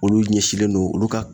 Olu ɲɛsinlen don olu ka